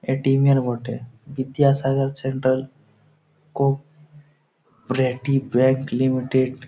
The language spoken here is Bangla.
এ টিম -এর বটে Vidyasagar centre cooperative bank limited --